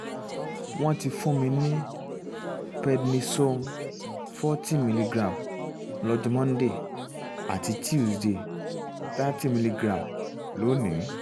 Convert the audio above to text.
wọ́n ti fún mi ní pednisone forty milligram lọ́jọ́ monday àti tuesday thirty milligram lónìí